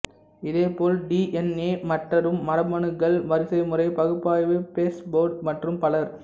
இதேபோல் D N A மற்ரும் மரபணுக்கள் வரிசைமுறை பகுப்பாய்வு பெர்ஸ்ஃபோர்டு மற்றும் பலர்